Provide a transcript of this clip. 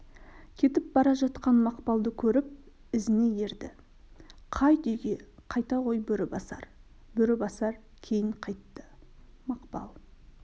кетіп бара жатқан мақпалды көріп ізіне ерді қайт үйге қайта ғой бөрібасар бөрібасар кейін қайтты мақпал